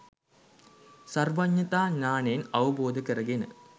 සර්වඥතා ඥානයෙන් අවබෝධ කරගෙන